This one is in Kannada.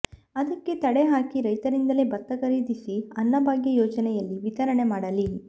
ಅದಕ್ಕೆ ತಡೆ ಹಾಕಿ ರೈತರಿಂದಲೇ ಭತ್ತ ಖರೀದಿಸಿ ಅನ್ನಭಾಗ್ಯ ಯೋಜನೆಯಲ್ಲಿ ವಿತರಣೆ ಮಾಡಲಿ